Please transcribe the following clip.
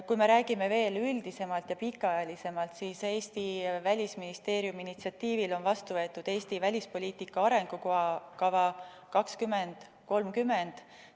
Kui me räägime veel üldisemalt ja pikaajalisemalt, siis Eesti Välisministeeriumi initsiatiivil on vastu võetud "Eesti välispoliitika arengukava 2030".